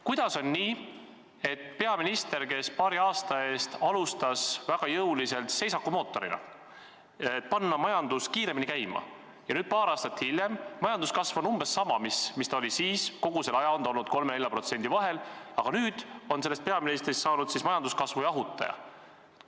Kuidas on nii, et peaminister, kes paari aasta eest alustas väga jõuliselt seisaku vältimise mootorina, et panna majandus kiiremini käima, aga nüüd, paar aastat hiljem –majanduskasv on umbes sama nagu siis, kogu selle aja on see olnud 3–4% vahel –, on sellest peaministrist saanud majanduskasvu jahutaja?